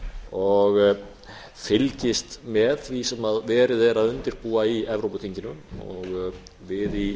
og fylgist með því sem verið er að undirbúa í evrópuþinginu við í